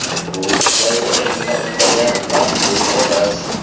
Bu ishlarga uni nima undagani ma’lum emas.